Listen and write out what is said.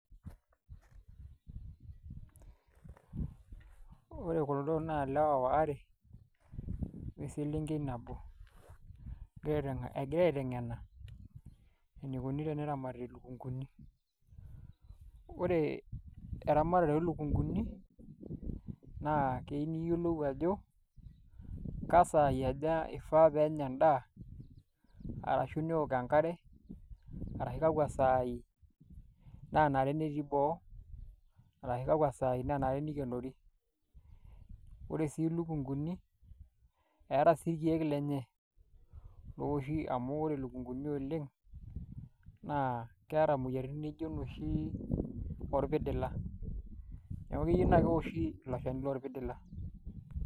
Ore kuldo naa ilewa are o selenkei nabo egira aiteng'ena enikoni teneramati ilukunguni ore eramatare oolukunguni naa keyieu niyiolou ajo kesaai aja ifaa pee enya endaa arashu neeok enkare arashu kakwa saai naanare tenetii boo arashu kakwa saai naanare nikenori, ore sii ilukunguni eeta sii irkeek lenye looshi amu ore ilukunguni oleng' naa keeta imoyiaritin nijio inoshi orpidila neeku keyieu naa keoshi ilo shani lorpidila.